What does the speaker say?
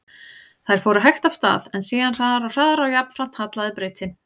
Þær fóru hægt af stað, en síðan hraðar og hraðar og jafnframt hallaði brautin.